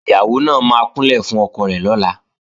Ìyàwó náà máa kúnlẹ̀ fún ọkọ rẹ̀ lọ́la